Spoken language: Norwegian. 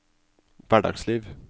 hverdagsliv